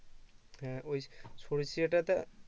হ্যাঁ ওই সরিষাটা তা